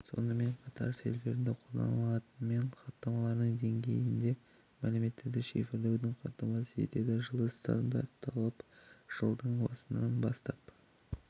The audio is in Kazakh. сонымен қатар серверлерінде қолданады пен хаттамаларының деңгейінде мәліметтерді шифрлеуді қамтамасыз етеді жылы стандартталып жылдың басынаң бастап